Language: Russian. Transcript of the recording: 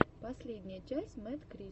последняя часть мэдкрис